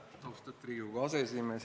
Austatud Riigikogu aseesimees!